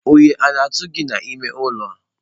Oyi o na atu gi n'ime ụlọ a?